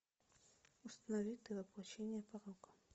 установи ты воплощение порока